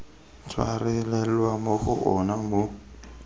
tshwarelelwa mo go ona mo